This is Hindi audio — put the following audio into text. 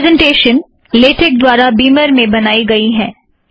यह प्रॆसंटेशन लेटेक द्वारा बीमर में बनाई गई है